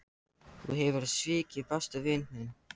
Þú hefur svikið besta vin þinn.